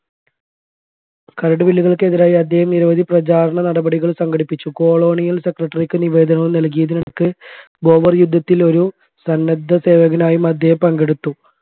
കരടുബില്ലുകൾക്കെതിരായി അദ്ദേഹം നിരവധി പ്രചാരണ നടപടികൾ സംഘടിപ്പിച്ചു കൊളോണിയൽ secretary ക്ക് നിവേദനവും നൽകിയതിനൊക്കെ ബോവർ യുദ്ധത്തിൽ ഒരു സന്നദ്ധസേവകനായും അദ്ദേഹം പങ്കെടുത്തു